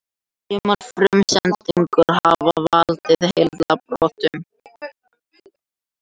Sumar frumsendurnar hafa valdið heilabrotum.